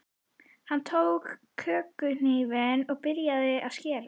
Hann tók kökuhnífinn og byrjaði að skera.